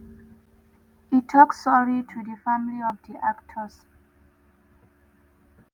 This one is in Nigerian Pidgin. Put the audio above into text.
e tok sorry to di family of di actors.